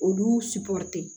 Olu